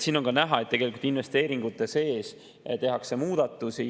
Siin on ka näha, et tegelikult investeeringute sees tehakse muudatusi.